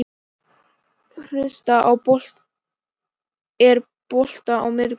Kristel, er bolti á miðvikudaginn?